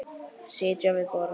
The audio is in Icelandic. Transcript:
Sitja við borð